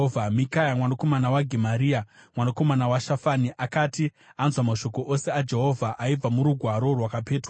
Mikaya mwanakomana waGemaria, mwanakomana waShafani, akati anzwa mashoko ose aJehovha aibva murugwaro rwakapetwa,